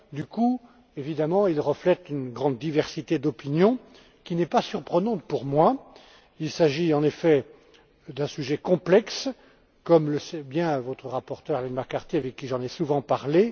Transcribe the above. Du coup, évidemment, il reflète une grande diversité d'opinions, qui n'est pas surprenante pour moi. Il s'agit, en effet, d'un sujet complexe, comme le sait bien votre rapporteure, Arlene McCarthy, avec qui j'en ai souvent parlé.